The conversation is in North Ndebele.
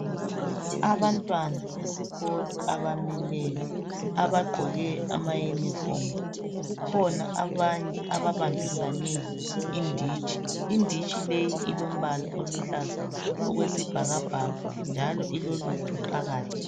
Abantwana besikolo abamileyo abagqoke amayunifomu. Kukhona abanye ababambisane inditshi elombala oluhlaza okwesibhakabhaka njalo ilolutho phakathi.